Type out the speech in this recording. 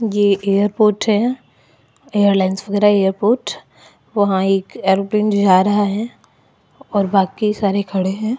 ये एयरपोर्ट हैं airline airport वहाँ एक एरोप्लेन जा रहा हैं और बाकी सारे खड़े हैं।